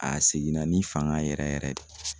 A seginna ni fanga yɛrɛ yɛrɛ yɛrɛ de.